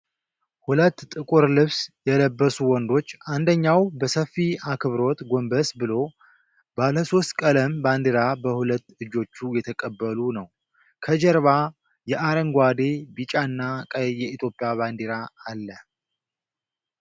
ሁለት ጥቁር ልብስ የለበሱ ወንዶች፣ አንደኛው በሰፊ አክብሮት ጎንበስ ብሎ፣ ባለሶስት ቀለም ባንዲራ በሁለት እጆች እየተቀበሉ ነው። ከጀርባ የአረንጓዴ፣ ቢጫና ቀይ የኢትዮጵያ ባንዲራ አለ።